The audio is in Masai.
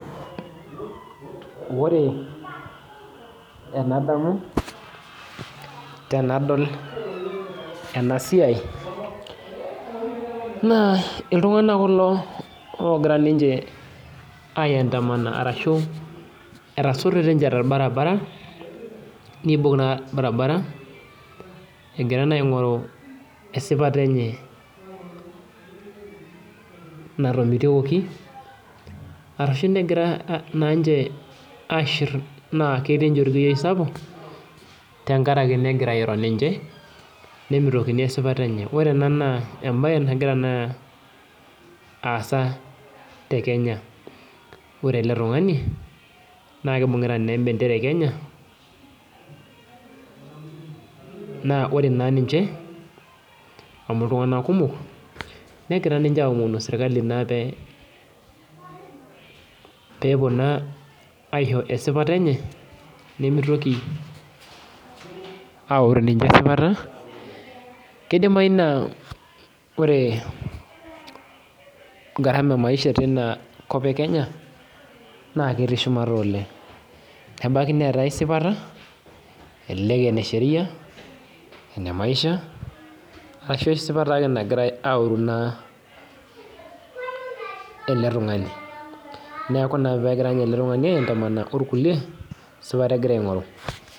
Ore enadamu tenadol enasiai na iltunganak kulo ogira aiadamama arashu etasototo nche torbaribara neibung orbaribara egira aingoru esipata enye natomitokoki ashu egira nche aishir na ketii nche orkuyioi sapuk tenkaraki egirai airony ninche nemitikini esipata enye neaku ore ena na embae nagira aasa tekenya ore ele tungani na kibungita embendera e kenya na ore na ninche na ltunganak kumok negira aamon serkali pepuo na aisho esipata enye nimitoki aoru ninche esipata kidimai ore garama emaisha tinakop e kenya netii shumata oleng nebaki elelek enesheria, enemaisha ashubesipata nagirai aoru ele tungani neaku esipata egira aingoru.